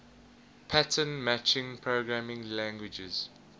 pattern matching programming languages